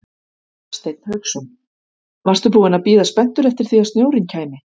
Hafsteinn Hauksson: Varstu búinn að bíða spenntur eftir því að snjórinn kæmi?